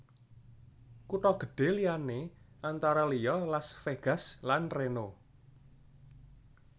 Kutha gedhé liyané antara liya Las Vegas lan Reno